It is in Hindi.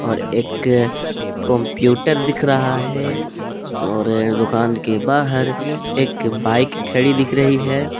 और एक कंप्यूटर दिख रहा है और दुकान के बाहर एक बाइक खड़ी दिख रही है।